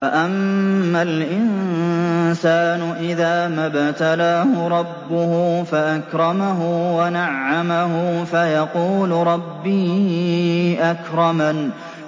فَأَمَّا الْإِنسَانُ إِذَا مَا ابْتَلَاهُ رَبُّهُ فَأَكْرَمَهُ وَنَعَّمَهُ فَيَقُولُ رَبِّي أَكْرَمَنِ